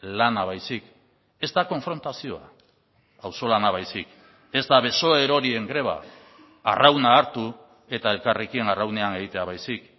lana baizik ez da konfrontazioa auzolana baizik ez da beso erorien greba arrauna hartu eta elkarrekin arraunean egitea baizik